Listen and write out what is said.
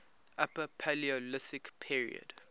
upper paleolithic period